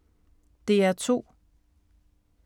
DR2